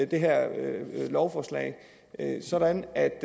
det her lovforslag sådan at